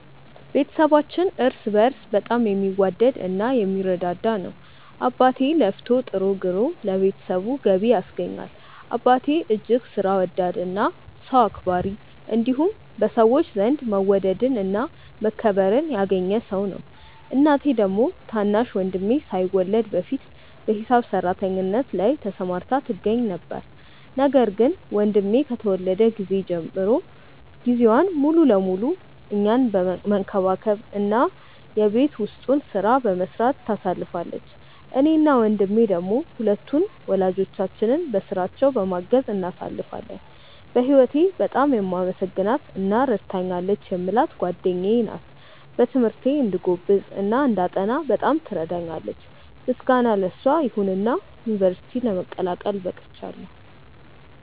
ቤተሰባችን እርስ በእርስ በጣም የሚዋደድ እና የሚረዳዳ ነው። አባቴ ለፍቶ ጥሮ ግሮ ለቤተሰቡ ገቢ ያስገኛል። አባቴ እጅግ ሥራ ወዳድ እና ሰው አክባሪ እንዲሁም በሰዎች ዘንድ መወደድን እና መከበርን ያገኘ ሰው ነው። እናቴ ደግሞ ታናሽ ወንድሜ ሳይወለድ በፊት በሂሳብ ሰራተኝነት ላይ ተሰማርታ ትገኛ ነበር፤ ነገር ግን ወንድሜ ከተወለደ ጊዜ ጀምሮ ጊዜዋን ሙሉ ለሙሉ እኛን መንከባከብ እና የቤት ውስጡን ሥራ በመስራት ታሳልፋለች። እኔ እና ወንድሜ ደሞ ሁለቱን ወላጆቻችንን በሥራቸው በማገዝ እናሳልፋለን። በህወቴ በጣም የማመሰግናት እና ረድታኛለች የምላት ጓደኛዬ ናት። በትምህርቴ እንድጎብዝ እና እንዳጠና በጣም ትረዳኛለች። ምስጋና ለሷ ይሁንና ዩንቨርስቲ ለመቀላቀል በቅቻለው።